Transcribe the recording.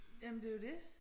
Jamen det er jo det